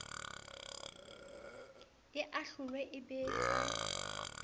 e ahlolwe e be ka